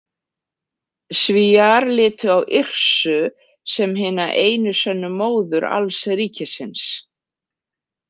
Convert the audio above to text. Svíar litu á Yrsu sem hina einu sönnu móður alls ríkisins.